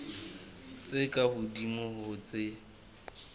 tse ka hodimo ho tse